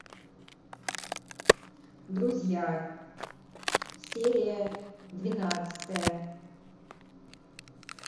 друзья серия двенадцатая